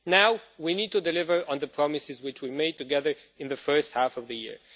Now, we need to deliver on the promises which we made together in the first half of the year.